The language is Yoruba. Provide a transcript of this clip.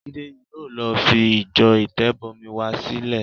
Jídé yìí ló fi ìjọ Ìtẹ̀bọmi wa sílẹ̀.